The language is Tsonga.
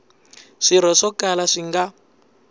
swirho swo kala swi nga